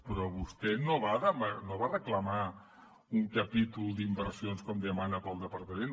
però vostè no va reclamar un capítol d’inversions com demana per al departament